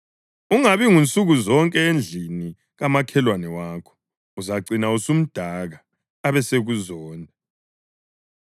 Ungabi ngunsukuzonke endlini kamakhelwane wakho uzacina usumdaka abesekuzonda.